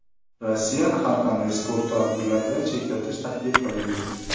Rossiyani har qanday sport tadbirlaridan chetlatish taklif qilindi.